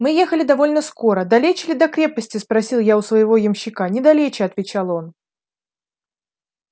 мы ехали довольно скоро далече ли до крепости спросил я у своего ямщика недалече отвечал он